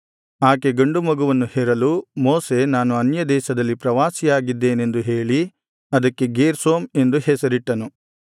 ಆಕೆ ಗಂಡು ಮಗುವನ್ನು ಹೆರಲು ಮೋಶೆ ನಾನು ಅನ್ಯದೇಶದಲ್ಲಿ ಪ್ರವಾಸಿಯಾಗಿದ್ದೇನೆಂದು ಹೇಳಿ ಅದಕ್ಕೆ ಗೇರ್ಷೋಮ್ ಎಂದು ಹೆಸರಿಟ್ಟನು